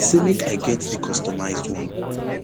say make i make i get di customised one